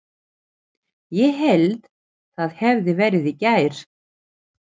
Ég hélt það hefði verið í gær.